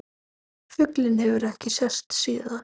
Fuglinn hefur ekki sést síðan.